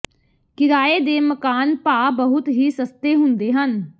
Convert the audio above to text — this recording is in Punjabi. ਕਿਰਾਏ ਦੇ ਮਕਾਨ ਭਾਅ ਬਹੁਤ ਹੀ ਸਸਤੇ ਹੁੰਦੇ ਹਨ